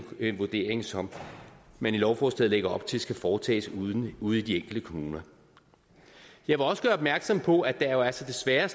en vurdering som man i lovforslaget lægger op til skal foretages ude i de enkelte kommuner jeg vil også gøre opmærksom på at der jo altså desværre